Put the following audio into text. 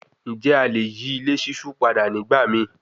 Njẹ a le yi ile ṣiṣu pada nigbamii